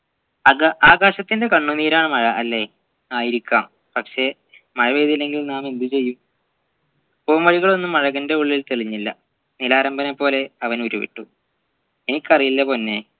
ആക ആകാശത്തിൻെറ കണ്ണുനീരാണ് മഴ അല്ലെ ആയിരിക്കാം പക്ഷെ മഴപെയ്തില്ലെങ്കിൽ നാം എന്തു ചെയ്യും പൂമൊഴികളൊന്നും അഴകൻറെ ഉള്ളിൽ തെളിഞ്ഞില്ല നിലാരംബനെ പോലെ അവൻ ഉരുവിട്ടു എനിക്കറിയില്ല പൊന്നേ